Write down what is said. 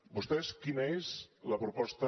vostès quina és la proposta